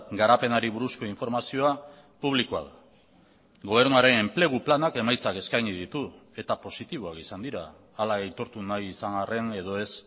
garapenari buruzko informazioa publikoa da gobernuaren enplegu planak emaitzak eskaini ditu eta positiboak izan dira hala aitortu nahi izan arren edo ez